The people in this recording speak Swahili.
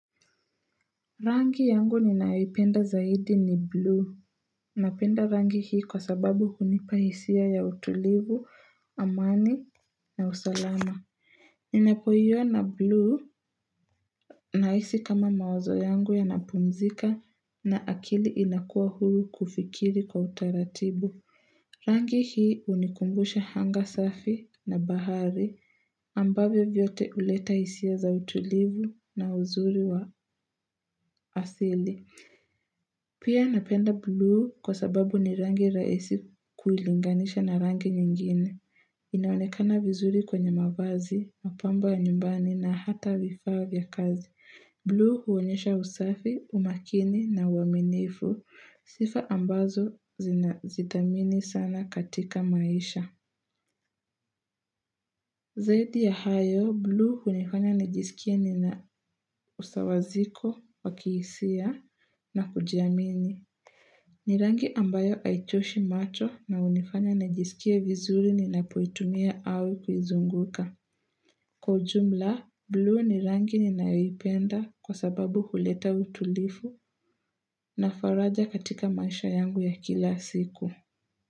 Rangi yangu ninayoipenda zaidi ni blue. Napenda rangi hii kwa sababu hunipa hisia ya utulivu, amani na usalama. Ninapoiona blue nahisi kama mawazo yangu yana pumzika na akili inakuwa huru kufikiri kwa utaratibu. Rangi hii unikumbusha hanga safi na bahari. Ambavyo vyote uleta hisia za utulivu na uzuri wa asili. Pia napenda blue kwa sababu ni rangi rahisi kulinganisha na rangi nyingine. Inaonekana vizuri kwenye mavazi, mapamba nyumbani na hata vifaa vya kazi. Blue huonyesha usafi, umakini na uaminifu. Sifa ambazo zidhamini sana katika maisha. Zaidi ya hayo, blue hunifanya nijisikie nina usawa ziko, wa kiisia na kujiamini. Ni rangi ambayo haichoshi macho na unifanya najisikia vizuri ninapoitumia au kuizunguka. Kwa ujumla, blue ni rangi ninayoipenda kwa sababu huleta utulifu na faraja katika maisha yangu ya kila siku.